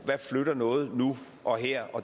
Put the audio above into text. der flytter noget nu og her